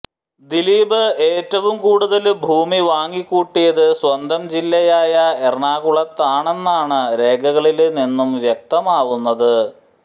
ദിലീപ് ഏറ്റവും കൂടുല് ഭൂമി വാങ്ങിക്കൂട്ടിയത് സ്വന്തം ജില്ലയായ എറണാകുളത്താണെന്നാണ് രേഖകളില് നിന്നും വ്യക്തമാവുന്നത്